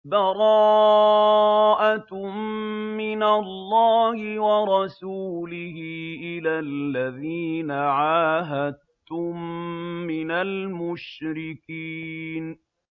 بَرَاءَةٌ مِّنَ اللَّهِ وَرَسُولِهِ إِلَى الَّذِينَ عَاهَدتُّم مِّنَ الْمُشْرِكِينَ